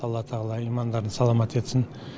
алла тағала имандарын саламат етсін